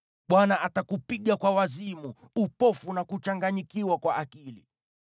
Bwana atakupiga kwa wazimu, upofu na kuchanganyikiwa kwa akili.